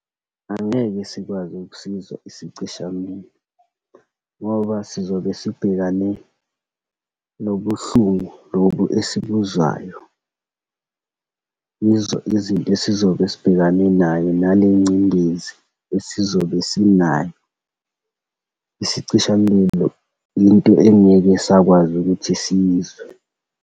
Angeke sikwazi ukusizwa isicishamlilo ngoba sizobe sibhekane nobuhlungu lobu esibuzwayo, yizo izinto esizobe sibhekane nayo, nalengcindezi esizobe sinayo. Isicishamlilo, into engeke sakwazi ukuthi siyizwe.